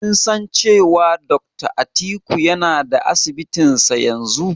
Kin san cewa Dakta Atiku yana da Asibitinsa yanzu?